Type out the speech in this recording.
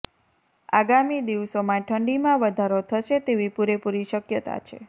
આગામી દિવસોમાં ઠંડીમાં વધારો થશે તેવી પૂરેપૂરી શકયતા છે